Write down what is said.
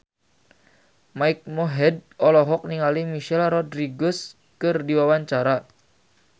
Mike Mohede olohok ningali Michelle Rodriguez keur diwawancara